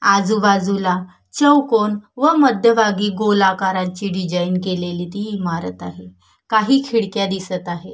आजूबाजूला चौकोन व मध्यभागी गोलाकारची डिझाईन केलेली ती इमारत आहे काही खिडक्या दिसत आहे.